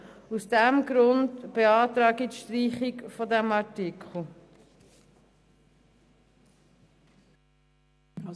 Aus diesem Grund beantrage ich die Streichung dieses Artikels.